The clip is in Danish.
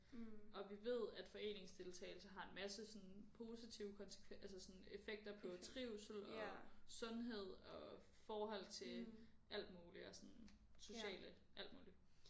Og vi ved at foreningsdeltagelse har en masse sådan positive konsekvens altså sådan effekter på trivsel og sundhed og forhold til alt muligt og sådan sociale alt muligt